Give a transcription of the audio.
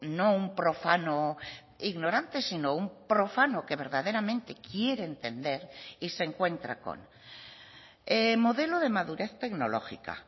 no un profano ignorante sino un profano que verdaderamente quiere entender y se encuentra con modelo de madurez tecnológica